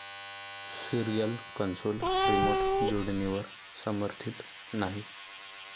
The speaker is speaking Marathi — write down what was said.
सिरिअल कंसोल रिमोट जोडणीवर समर्थीत नाही